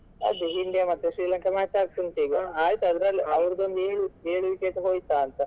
ಅದೇ India ಮತ್ತೆ Srilanka match ಆಗ್ತಾ ಉಂಟಿಗ ಆಯ್ತಾ ಅದ್ರಲ್ಲಿ ಏಳು ಏಳು wicket ಹೋಯ್ತಾ ಅಂತ.